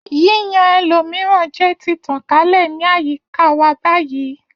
Yíyan ẹlòmíràn jẹ ti tàn kálẹ̀ ní àyíká wa báyìí